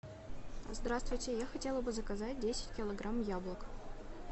здравствуйте я хотела бы заказать десять килограмм яблок